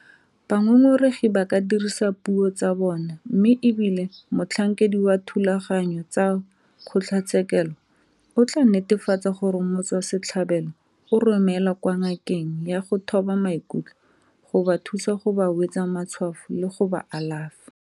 Bangongoregi ba ka dirisa puo tsa bona mme e bile motlhankedi wa dithulaganyo tsa kgotlatshekelo o tla netefatsa gore motswasetlhabelo o romelwa kwa ngakeng ya go thoba maikutlo go ba thusa go ba wetsa matshwafo le go ba alafa.